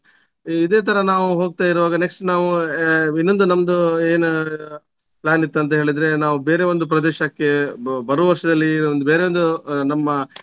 ಇದೆ ತರ ನಾವು ಹೋಗ್ತಾ ಇರುವಾಗ next ನಾವು ಆ ಇನ್ನೊಂದು ನಮ್ದು ಏನ್ plan ಇತ್ತಂತ ಹೇಳಿದ್ರೆ ನಾವು ಬೇರೆ ಒಂದು ಪ್ರದೇಶಕ್ಕೆ ಬ~ ಬರುವ ವರ್ಷದಲ್ಲಿ ಒಂದ್ ಬೇರೆ ಒಂದು ನಮ್ಮ